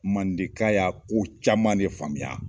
Mandenka y'a ko caman ne faamuya.